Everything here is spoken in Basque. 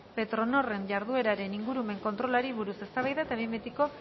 petronorren jardunaren ingurumen kontrolari buruz eztabaida eta behin betikok